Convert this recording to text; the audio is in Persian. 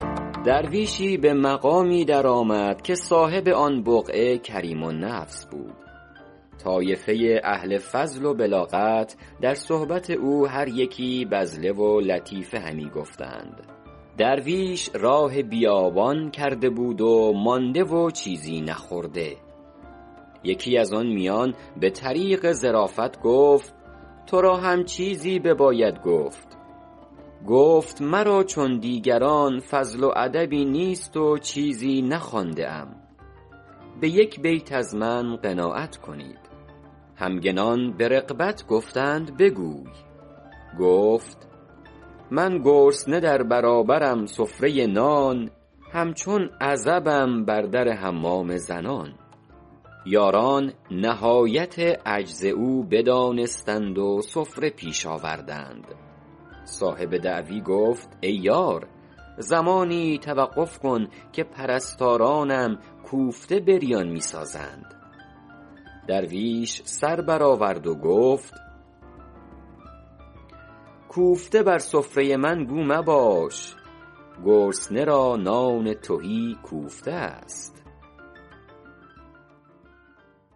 درویشی به مقامی در آمد که صاحب آن بقعه کریم النفس بود طایفه اهل فضل و بلاغت در صحبت او هر یکی بذله و لطیفه همی گفتند درویش راه بیابان کرده بود و مانده و چیزی نخورده یکی از آن میان به طریق ظرافت گفت تو را هم چیزی بباید گفت گفت مرا چون دیگران فضل و ادبی نیست و چیزی نخوانده ام به یک بیت از من قناعت کنید همگنان به رغبت گفتند بگوی گفت من گرسنه در برابرم سفره نان همچون عزبم بر در حمام زنان یاران نهایت عجز او بدانستند و سفره پیش آوردند صاحب دعوت گفت ای یار زمانی توقف کن که پرستارانم کوفته بریان می سازند درویش سر بر آورد و گفت کوفته بر سفره من گو مباش گرسنه را نان تهی کوفته است